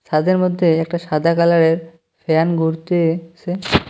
তাঁদের মধ্যে একটা সাদা কালারের ফ্যান ঘুরতেছে।